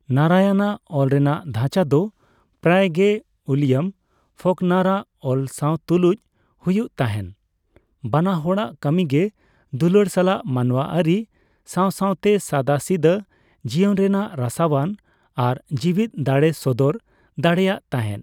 ᱱᱟᱨᱟᱭᱚᱱᱟᱜ ᱚᱞ ᱨᱮᱱᱟᱜ ᱫᱷᱟᱪᱟ ᱫᱚ ᱯᱨᱟᱭᱜᱤ ᱩᱭᱞᱤᱭᱟᱢ ᱯᱷᱚᱠᱱᱟᱨ ᱟᱜ ᱚᱞ ᱥᱟᱣ ᱛᱩᱞᱩᱡᱽ ᱦᱩᱭᱩᱜ ᱛᱟᱦᱮᱱ ᱾ ᱵᱟᱱᱟ ᱦᱚᱲᱟᱜ ᱠᱟᱹᱢᱤ ᱜᱮ ᱫᱩᱞᱟᱹᱲ ᱥᱟᱞᱟᱜ ᱢᱟᱱᱣᱟ ᱟᱹᱨᱤ ᱥᱟᱣ ᱥᱟᱣᱛᱮ ᱥᱟᱫᱟᱥᱤᱫᱟᱹ ᱡᱤᱭᱚᱱ ᱨᱮᱱᱟᱜ ᱨᱟᱥᱟᱣᱟᱱ ᱟᱨ ᱡᱤᱣᱤᱫ ᱫᱟᱲᱮᱭ ᱥᱚᱫᱚᱨ ᱫᱟᱲᱮᱭᱟᱜ ᱛᱟᱦᱮᱱ ᱾